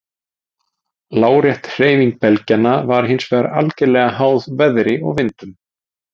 Lárétt hreyfing belgjanna var hins vegar algerlega háð veðri og vindum.